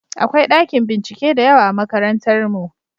Akwai ɗakin bincike da yawa a makarantarmu.